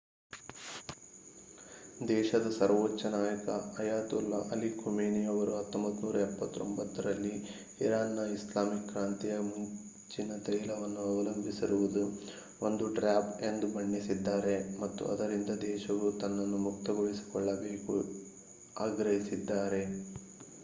ದೇಶದ ಸರ್ವೋಚ್ಚ ನಾಯಕ ಅಯತೊಲ್ಲಾ ಅಲಿ ಖಮೇನಿ ಅವರು 1979 ರಲ್ಲಿ ಇರಾನ್‌ನ ಇಸ್ಲಾಮಿಕ್ ಕ್ರಾಂತಿಯ ಮುಂಚಿನ ತೈಲವನ್ನು ಅವಲಂಬಿಸಿರುವುದು ಒಂದು ಟ್ರ್ಯಾಪ್ ಎಂದು ಬಣ್ಣಿಸಿದ್ದಾರೆ ಮತ್ತು ಅದರಿಂದ ದೇಶವು ತನ್ನನ್ನು ಮುಕ್ತಗೊಳಿಸಿಕೊಳ್ಳಬೇಕು ಆಗ್ರಹಿಸಿದ್ದಾರೆ